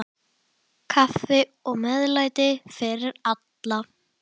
Kaffi og meðlæti fyrir alla.